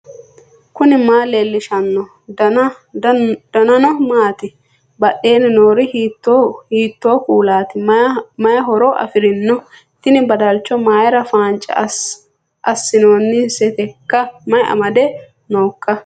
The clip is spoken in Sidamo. knuni maa leellishanno ? danano maati ? badheenni noori hiitto kuulaati ? mayi horo afirino ? tini badalcho mayra faance assinooniseteikka mayi amade nooikka